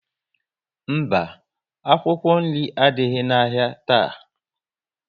Mba, akwụkwọ nri adịghị na ahịa taa